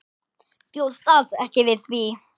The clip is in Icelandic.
Bjóst alls ekki við því.